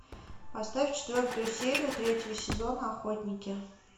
поставь четвертую серию третьего сезона охотники